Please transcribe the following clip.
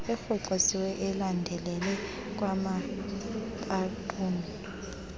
erhoxisiweyo ulandelele kwanabaxumi